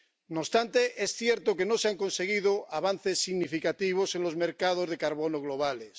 No obstante, es cierto que no se han conseguido avances significativos en los mercados de carbono globales.